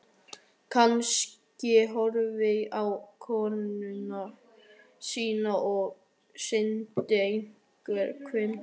Kanslarinn horfði á konung sinn og sýndi engin svipbrigði.